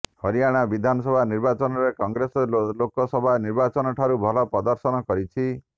ହରିୟାଣା ବିଧାନସଭା ନିର୍ବାଚନରେ କଂଗ୍ରେସ ଲୋକ ସଭା ନିର୍ବାଚନଠାରୁ ଭଲ ପ୍ରଦର୍ଶନ କରିଛି